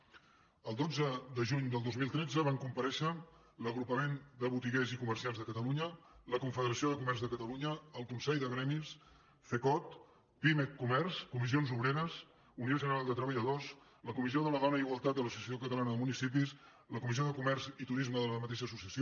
el dotze de juny del dos mil tretze van comparèixer l’agrupament de botiguers i comerciants de catalunya la confederació de comerç de catalunya el consell de gremis cecot pimec comerç comissions obreres unió general de treballadors la comissió de la dona i igualtat de l’associació catalana de municipis la comissió de comerç i turisme de la mateixa associació